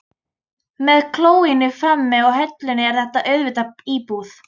Með klóinu frammi og hellunni er þetta auðvitað íbúð.